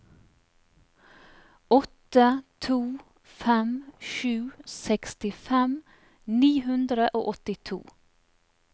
åtte to fem sju sekstifem ni hundre og åttito